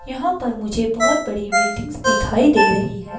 यहां पर मुझे बहुत बड़ी विल्डिंग्स दिखाई दे रही हैं।